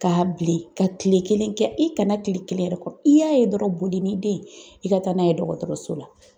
Ka bilen ka tile kelen kɛ, i kana tile kelen yɛrɛ kɔnɔ, i y'a ye dɔrɔnw, boli ni den ye i ka taa n'a ye dɔgɔtɔrɔso la!